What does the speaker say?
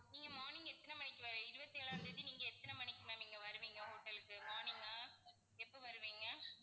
நீங்க morning எத்தனை மணிக்கு ma'am இருபத்தி ஏழாம் தேதி நீங்க எத்தனை மணிக்கு ma'am இங்க வருவீங்க hotel க்கு? morning ஆ எப்போ வருவீங்க?